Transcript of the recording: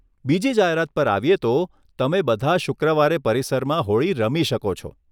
બીજી જાહેરાત પર આવીએ તો, તમે બધા શુક્રવારે પરિસરમાં હોળી રમી શકો છો.